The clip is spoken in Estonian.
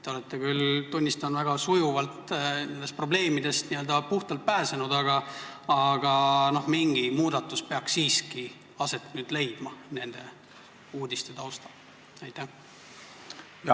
Te olete küll, tunnistan, väga sujuvalt nendest probleemidest puhtalt pääsenud, aga mingi muudatus peaks nende uudiste taustal siiski aset leidma.